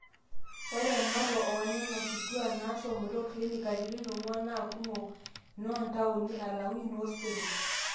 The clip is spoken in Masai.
ore ematua oonena kitwaak naashomoita clinic katitin ong'wan naa kumok inoontaoni alang'u inosero